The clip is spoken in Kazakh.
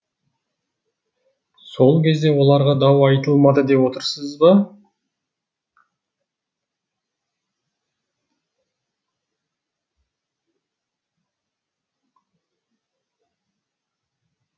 сол кезде оларға дау айтылмады деп отырсыз ба